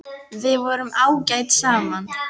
Við vorum ágæt saman.